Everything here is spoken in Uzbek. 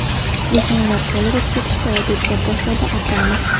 Lekin ular gol urib ketishdi”, - deb gap boshladi Abramov.